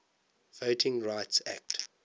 voting rights act